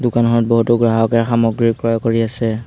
দোকানখনত বহুতো গ্ৰাহকে সামগ্ৰী ক্ৰয় কৰি আছে।